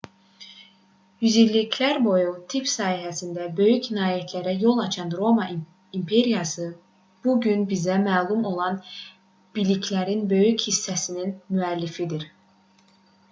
yüzilliklər boyu tibb sahəsində böyük nailiyyətlərə yol açan roma imperiyası bu gün bizə məlum olan biliklərin böyük hissəsinin müəllifidir